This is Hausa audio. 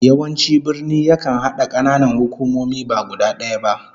Yawanci birni yakan hada kananan hukumomi ba guda daya ba